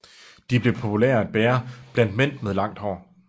De blev populære at bære blandt mænd med langt hår